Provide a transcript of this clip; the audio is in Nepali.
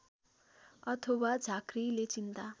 अथवा झाँक्रिले चिन्ता